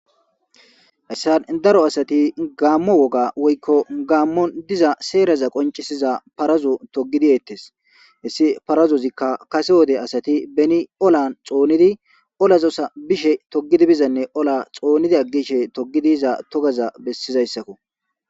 hessan daro asati gaammo woga woykko gaammon diza seeraza qoncisiza parazo togidi yettes hessi parazozikka kase wode asati beni olan xoonidi olazosa bishe togidi bizanne ola xoonidi aggishe togidiiza togaza bessizayssakko